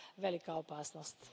velika opasnost.